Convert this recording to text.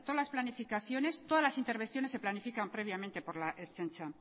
las planificaciones todas las intervenciones se planifican previamente por la ertzaintza